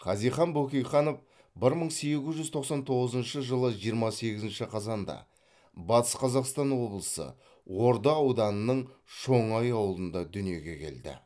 хазихан бөкейханов бір мың сегіз жүз тоқсан тоғызыншы жылы жиырма сегізінші қазанда батыс қазақстан облысы орда ауданының шоңай ауылында дүниеге келді